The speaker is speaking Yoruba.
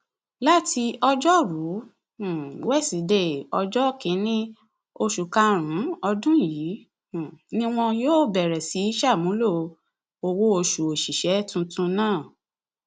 láti ọjọrùú um wẹsídẹẹ ọjọ kìnínní oṣù karùnún ọdún yìí um ni wọn yóò bẹrẹ sí í ṣàmúlò owóoṣù òṣìṣẹ tuntun náà